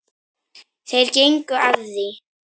Þeir gengu að því.